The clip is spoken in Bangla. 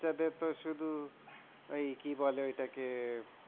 বাচ্চাদের তো শুধু ওই কি বলে ওইটা কে